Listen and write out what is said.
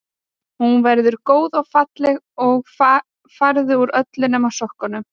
Hún verður góð og falleg og farðu úr öllu nema sokkunum.